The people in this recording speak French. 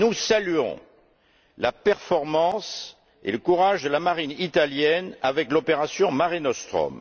Nous saluons la performance et le courage de la marine italienne avec l'opération Mare Nostrum.